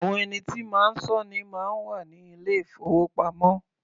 Àwọn ẹni tí máa sọ́ ni máa ń wà ní ilé-ìfowópamọ́.